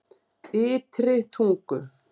Ytri Tungu